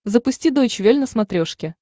запусти дойч вель на смотрешке